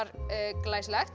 glæsilegt